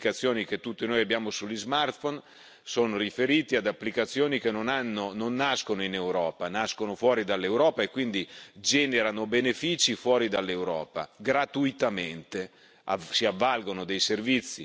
I sistemi di geolocalizzazione delle applicazioni che tutti noi abbiamo sugli smartphone sono riferiti ad applicazioni che non nascono in Europa, nascono fuori dall'Europa, e quindi generano benefici fuori dall'Europa, gratuitamente!